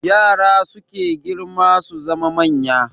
Yara suke girma su zama manya